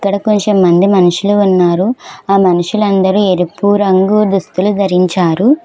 ఇక్కడ కొంచెం మంది మనుషులు ఉన్నారు ఆ మనుషులు అందరూ ఎరుపు రంగు దుస్తులు ధరించారు.